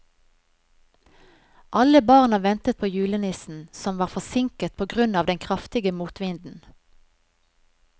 Alle barna ventet på julenissen, som var forsinket på grunn av den kraftige motvinden.